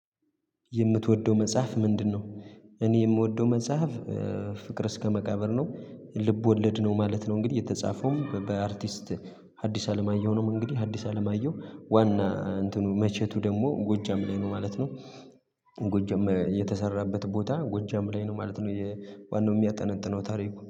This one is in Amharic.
የምትወደው መጽሐፍ ምንድነው? እኔ የምወደው መጽሐፍ ፍቅር እስከ መቃብር ነው። ልብ ወለድ ነው ማለት ነው። እንግዲህ የተጻፈውም በአርቲስት ሀዲስ አለማየሁ ነው። እንግዲህ ሀዲስ አለማየሁ ዋና እንትኑ መቸቱ ደግሞ ጎጃም ላይ ነው ማለት ነው። ጎጃም የተሰራበት ቦታ ጎጃም ላይ ነው ማለት ነው የዋናው የሚያጠነጥነው ታሪኩ